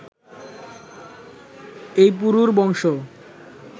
এই পুরুর বংশ